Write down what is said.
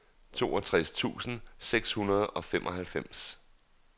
toogtres tusind seks hundrede og femoghalvfems